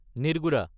নিৰ্গুদা